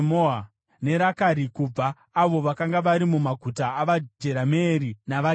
neRakari; kuna avo vakanga vari mumaguta avaJerameeri navaKeni;